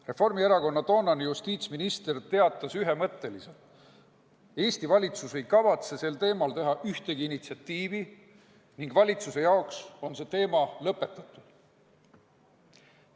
Reformierakonna toonane justiitsminister teatas ühemõtteliselt, et Eesti valitsus ei kavatse sel teemal näidata mingit initsiatiivi ning valitsuse jaoks on see teema lõpetatud.